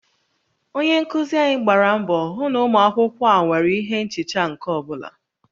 Onye nkuzi anyị gbara mbọ hụ na ụmụ akwụkwọ a nwere ihe nchicha nke ọ bụla